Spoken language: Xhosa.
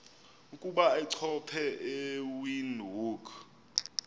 ukuba achophe ewindhoek